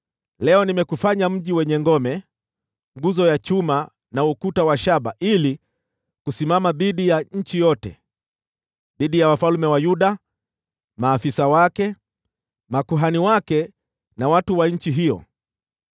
Leo nimekufanya mji wenye ngome, nguzo ya chuma, na ukuta wa shaba ili kusimama dhidi ya nchi yote: dhidi ya wafalme wa Yuda, maafisa wake, makuhani wake na watu wa nchi hiyo.